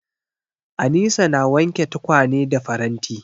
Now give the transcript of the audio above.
Anisa na wanke tukwane da faranti.